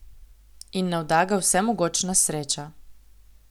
In navda ga vsemogočna sreča.